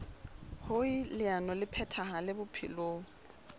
hoer leano le phethahale bophelong